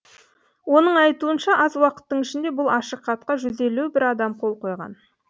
оның айтуынша аз уақыттың ішінде бұл ашық хатқа жүз елу бір адам қол қойған